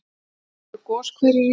Fyrst voru goshverir í